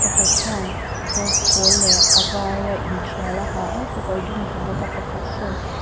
pakhat hian kawr pâwl leh a var a in ṭial a ha a kekawr dum a haw bawk a pakhat sawn--